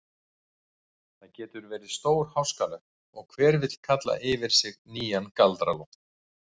Það getur verið stórháskalegt og hver vill kalla yfir sig nýjan Galdra-Loft.